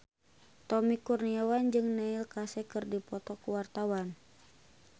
Tommy Kurniawan jeung Neil Casey keur dipoto ku wartawan